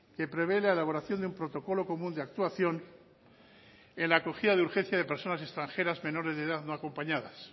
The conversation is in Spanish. que prevé la elaboración de un protocolo común de actuación en la acogida de urgencia de personas extranjeras menores de edad no acompañadas